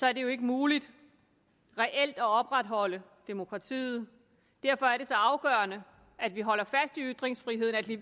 er det jo ikke muligt reelt at opretholde demokratiet derfor er det så afgørende at vi holder fast i ytringsfriheden at vi